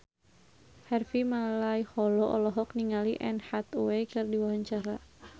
Harvey Malaiholo olohok ningali Anne Hathaway keur diwawancara